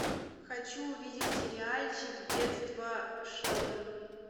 хочу увидеть сериальчик детство шелдона